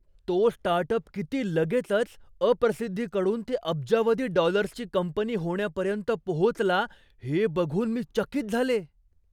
तो स्टार्टअप किती लगेचच, अप्रसिद्धीकडून ते अब्जावधी डॉलर्सची कंपनी होण्यापर्यंत पोहोचला हे बघून मी चकित झाले.